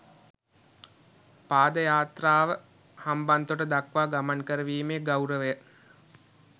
පාද යාත්‍රාව හම්බන්තොට දක්වා ගමන් කරවීමේ ගෞරවය